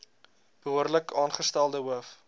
behoorlik aangestelde hoof